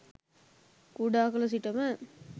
කුඩා කළ සිටම